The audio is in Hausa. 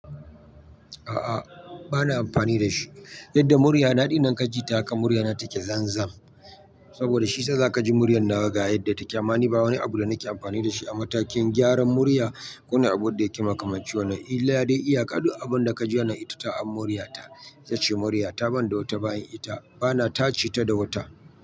A'a, ba na amfani da shi. Yadda murya na ɗi nan ka ji ta haka murya na take zanzan. Saboda shi sa za ka ji muryar nawa ga yadda ta ƙe amma ni. Ba wani abu da nake amfani da shi a matakin gyaran murya. Ko na abun da yake makamancin wani. Illa dai iya ka duk abin da ka ji wannan na ita ta a muryata. Itace murya ta ban da wata bayan ita. Ba na tace ta da wuta.